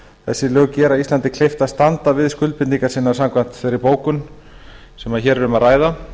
þessi lög gera íslandi kleift að standa við skuldbindingar samkvæmt þeirri bókun sem hér er um að ræða